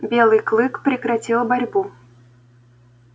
белый клык прекратил борьбу